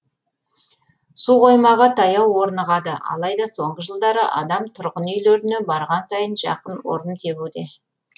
суқоймаға таяу орнығады алайда соңғы жылдары адам түрғын үйлеріне барған сайын жақын орын тебуде